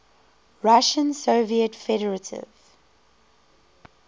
russian soviet federative